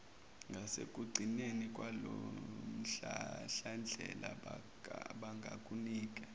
ngasekugcineni kwalomhlahlandlela bangakunika